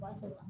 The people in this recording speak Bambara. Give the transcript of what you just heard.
B'a sɛbɛ